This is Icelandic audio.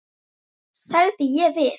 sagði ég við